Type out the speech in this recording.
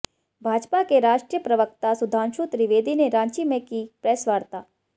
भाजपा के राष्ट्रीय प्रवक्ता सुधांशु त्रिवेदी ने रांची में की प्रेस वार्ता